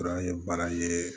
Fana ye